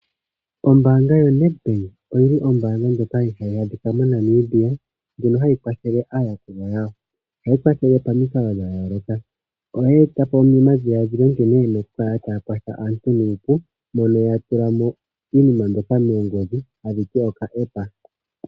Ombaanga yaNedbank ombaanga yaNamibia ndjono hayi kwathele aayakulwa yawo. Ohayi kwathele pamikalo dhayoolokathana oyeeta po edhiladhilo nkene yina okukala tayi kwathele aantu nuupu mono ya longitha omayakulo gopangodhi.